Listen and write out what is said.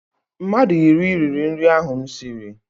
Mmadụ iri riri nri ahụ m siri.